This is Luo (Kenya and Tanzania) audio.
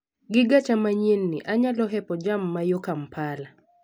Gigacha manyien ni, anyalo hepo jam mayo Kampala.